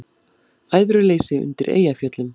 Æðruleysi undir Eyjafjöllum